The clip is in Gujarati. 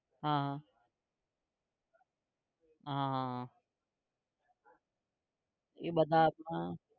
હા હા, હા હા હા એ બધા હાથમાં